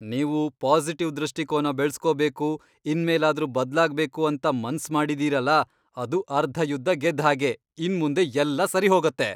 ನೀವು ಪಾಸಿಟಿವ್ ದೃಷ್ಟಿಕೋನ ಬೆಳ್ಸ್ಕೋಬೇಕು, ಇನ್ಮೇಲಾದ್ರೂ ಬದ್ಲಾಗ್ಬೇಕು ಅಂತ ಮನ್ಸ್ ಮಾಡಿದೀರಲ, ಅದು ಅರ್ಧ ಯುದ್ಧ ಗೆದ್ದ್ ಹಾಗೆ! ಇನ್ಮುಂದೆ ಎಲ್ಲ ಸರಿ ಹೋಗತ್ತೆ.